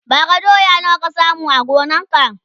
bara doya nawa ka samu a gonan ka?